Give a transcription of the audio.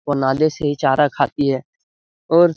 वह नाले से ही चारा खाती है ओर --